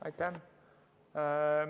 Aitäh!